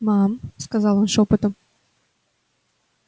мам сказал он шёпотом